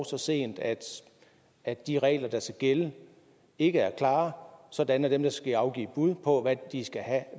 så sent at at de regler der skal gælde ikke er klare sådan at dem der skal afgive bud på